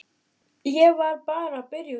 Ég var bara að byrja á túr.